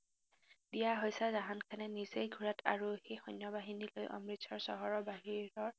দিয়া হৈছে জাহান খানে নিজে ঘোঁৰাত আৰোহী সৈন্যবাহিনী লৈ অমৃতচৰ চহৰৰ বাহিৰৰ